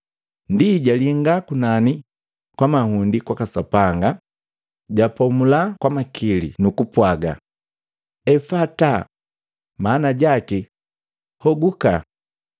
Ndi jalinga kunani kwa mahundi kwaka Sapanga, japomula kwa makili nukupwaga, “Efata,” maana jaki, “Hogukaje.”